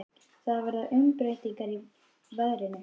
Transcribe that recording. Það verða umbreytingar í veðrinu.